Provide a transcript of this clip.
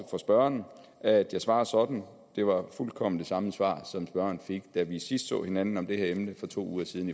for spørgeren at jeg svarer sådan det var fuldkommen det samme svar som spørgeren fik da vi sidst så hinanden om det her emne for to uger siden